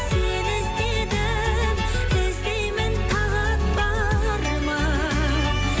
сені іздедім іздеймін тағат бар ма